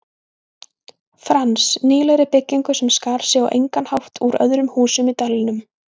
Frans, nýlegri byggingu sem skar sig á engan hátt úr öðrum húsum í dalnum.